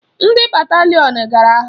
Ndị batalịon gara agha.